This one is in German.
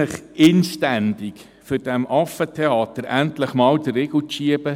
Ich bitte Sie , um diesem Affentheater endlich einmal den Riegel vorzuschieben: